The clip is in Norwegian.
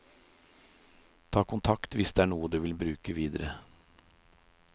Ta kontakt hvis det er noe du vil bruke videre.